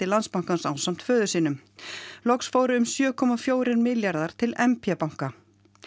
Landsbankans ásamt föður sínum loks fóru um sjö komma fjórir milljarðar til m p banka